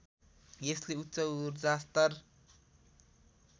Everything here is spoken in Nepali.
यसले उच्च ऊर्जास्तर